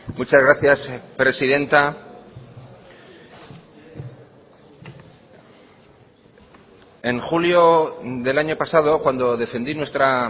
muchas gracias presidenta en julio del año pasado cuando defendí nuestra